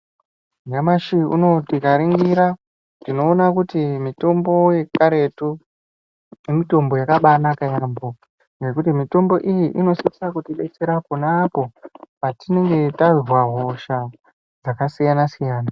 Nyamashi unowu tikaringira, tinoona kuti mitombo yekaretu, mitombo yakabanaka yaamho ngekuti mitombo iyi inosisa kutibetsera ponapo, patinenge tazwa hosha dzakasiyana-siyana.